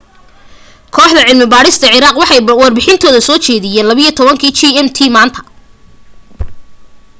kooxda cilmi baadhista ciraaq waxay warbixintooda soo jeediyeen 12.00 gmt maanta